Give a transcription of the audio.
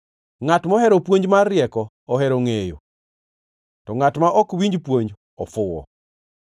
Ngʼat mohero puonj mar rieko ohero ngʼeyo, to ngʼat ma ok winj puonj ofuwo.